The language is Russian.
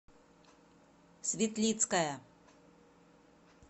светлицкая